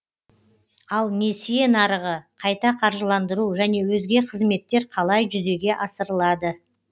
ал несие нарығы қайта қаржыландыру және өзге қызметтер қалай жүзеге асырылады